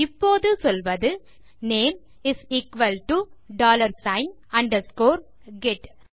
இப்போது சொல்வது name is equal to dollar sign underscore get